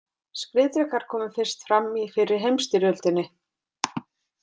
Skriðdrekar komu fyrst fram í fyrri heimsstyrjöldinni.